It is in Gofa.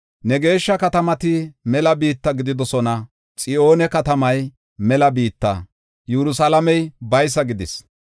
Ne geeshsha katamati mela biitta gididosona; Xiyoone katamay mela biitta, Yerusalaamey baysa gidis.